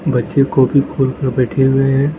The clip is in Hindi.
बच्चे कॉपी खोल के बैठे हुए हैं।